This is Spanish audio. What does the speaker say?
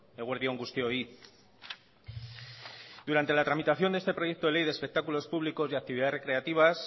eguerdi on guztioi durante la tramitación de este proyecto de ley de espectáculos públicos y actividades recreativas